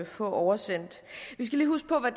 få oversendt vi skal lige huske på